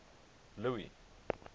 louis